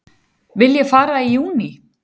Vil ég fara í júní?